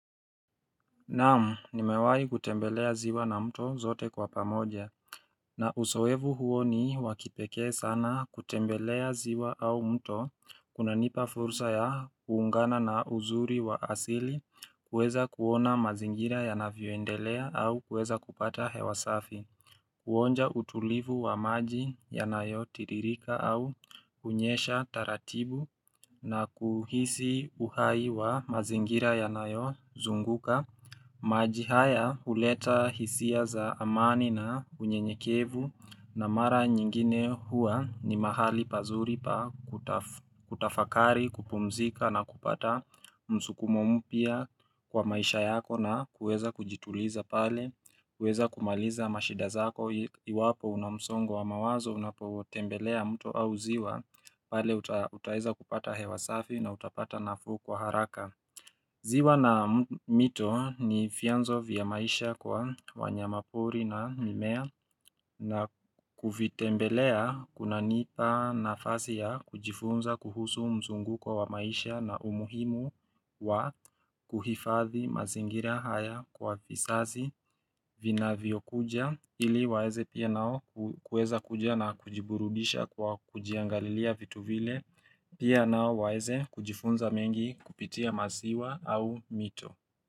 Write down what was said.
Naamu, nimewai kutembelea ziwa na mto zote kwa pamoja. Na usoevu huo ni wa kipekee sana kutembelea ziwa au mto kuna nipa fursa ya kuungana na uzuri wa asili kuweza kuona mazingira ya navyondelea au kuweza kupata hewasafi. Kuonja utulivu wa maji ya nayo tiririka au kunyesha taratibu na kuhisi uhai wa mazingira ya nayo zunguka. Maji haya huleta hisia za amani na unyenyekevu na mara nyingine hua ni mahali pazuri pa kutafakari, kupumzika na kupata msukumomu pia kwa maisha yako na kuweza kujituliza pale kuweza kumaliza mashidazako iwapo una msongo wa mawazo unapotembelea mto au ziwa pale utaeza kupata hewa safi na utapata nafuu kwa haraka Ziwa na mito ni vyanzo vya maisha kwa wanya mapori na mimea na kufitembelea kuna nipa nafasi ya kujifunza kuhusu mzunguko wa maisha na umuhimu wa kuhifathi mazingira haya kwa visazi vina viokuja Ili waeze pia nao kueza kujia na kujiburudisha kwa kujiangalilia vitu vile Pia nao waeze kujifunza mengi kupitia maziwa au mito.